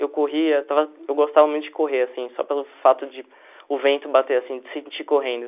Eu corria, estava eu gostava muito de correr, assim, só pelo fato de o vento bater, assim, de sentir correndo.